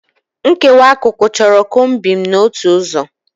Nkewa akụkụ chọrọ combing n'otu ụzọ.